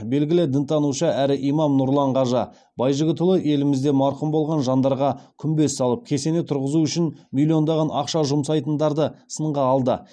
белгілі дінтанушы әрі имам нұрлан қажы байжігітұлы елімізде марқұм болған жандарға күмбез салып кесене тұрғызу үшін миллиондаған ақша жұмсайтындарды сынға алды